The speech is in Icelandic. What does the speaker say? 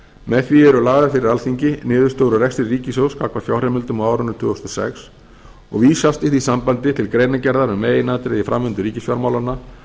með því eru lagðar fyrir alþingi niðurstöður úr rekstri ríkissjóðs gagnvart fjárheimildum á árinu tvö þúsund og sex og vísast í því sambandi til greinargerðar um meginatriði í framvindu ríkisfjármálanna